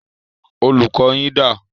Olùkọ́ yín dà?